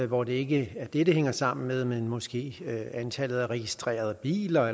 hvor det ikke er det det hænger sammen med men måske antallet af registrerede biler